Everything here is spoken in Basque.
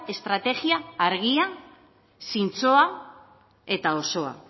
estrategia argia zintzoa eta osoa